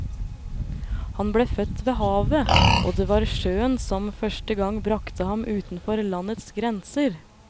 Han ble født ved havet, og det var sjøen som første gang bragte ham utenfor landets grenser.